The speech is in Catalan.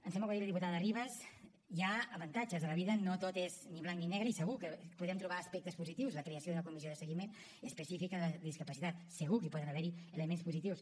em sembla que ho ha dit la diputada ribas hi ha avantatges a la vida no tot és ni blanc ni negre i segur que podem trobar aspectes positius de la creació d’una comissió de seguiment específica de la discapacitat segur que hi poden haver elements positius